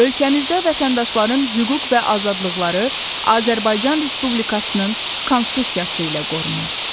Ölkəmizdə vətəndaşların hüquq və azadlıqları Azərbaycan Respublikasının Konstitusiyası ilə qorunur.